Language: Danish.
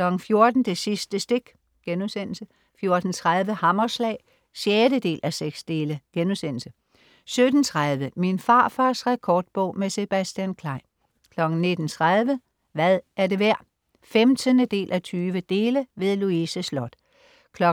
14.00 Det sidste stik* 14.30 Hammerslag 6:6* 17.30 Min farfars rekordbog. Med Sebastian Klein 19.30 Hvad er det værd? 15:20. Louise Sloth 20.00